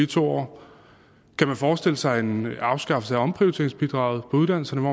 to år kan man forestille sig en afskaffelse af omprioriteringsbidraget på uddannelserne